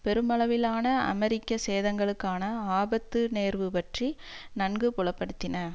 பெருமளவிலான அமெரிக்க சேதங்களுக்கான ஆபத்து நேர்வு பற்றி நன்கு புலப்படுத்தின